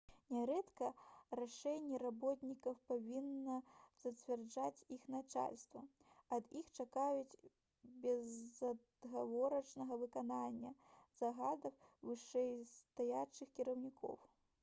нярэдка рашэнні работнікаў павінна зацвярджаць іх начальства ад іх чакаюць безадгаворачнага выканання загадаў вышэйстаячых кіраўнікоў